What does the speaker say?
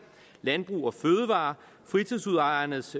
landbrug fødevarer fritidshusejernes